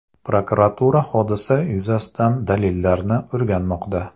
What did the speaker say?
Prokuratura hodisa yuzasidan dalillarni o‘rganmoqda.